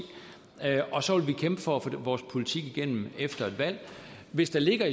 og så vil vi kæmpe for at få vores politik igennem efter et valg hvis der ligger